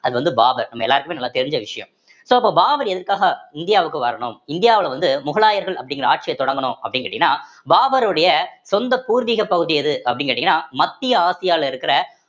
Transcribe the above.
அது வந்து பாபர் நம்ம எல்லாருக்குமே நல்லா தெரிஞ்ச விஷயம் so அப்போ பாபர் எதுக்காக இந்தியாவுக்கு வரணும் இந்தியாவுல வந்து முகலாயர்கள் அப்படிங்கிற ஆட்சியை தொடங்கணும் அப்படின்னு கேட்டீங்கன்னா பாபருடைய சொந்த பூர்வீக பகுதி எது அப்படின்னு கேட்டீங்கன்னா மத்திய ஆசியால இருக்கிற